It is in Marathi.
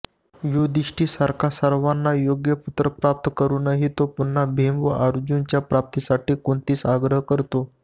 युधिष्ठिरसारखा सर्वार्थाने योग्य पुत्र प्राप्त करूनही तो पुन्हा भीम व अर्जुनाच्या प्राप्तीसाठी कुंतीस आग्रह करतो